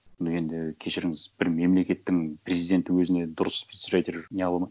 ну енді кешіріңіз бір мемлекеттің президенті өзіне дұрыс спичрайтер не